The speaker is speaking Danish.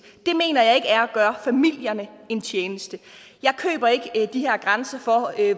det mener jeg ikke er at gøre familierne en tjeneste jeg køber ikke de her grænser